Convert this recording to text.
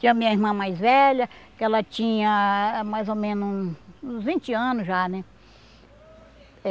Tinha a minha irmã mais velha, que ela tinha mais ou menos uns vinte anos já, né?